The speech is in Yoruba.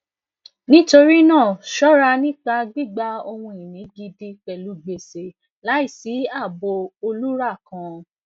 nitorinaa ṣọra nipa gbigba ohunini gidi pẹlu gbese laisi aabo olura kan